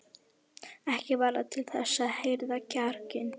Ekki varð það til þess að herða kjarkinn.